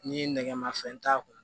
Ni nɛgɛmafɛn t'a kun